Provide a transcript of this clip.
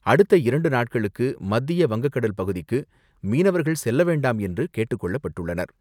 அடுத்த இரண்டு நாட்களுக்கு மத்திய வங்கக்கடல் பகுதிக்கு மீனவர்கள் செல்ல வேண்டாம் என்று கேட்டுக்கொள்ளப்பட்டுள்ளனர்.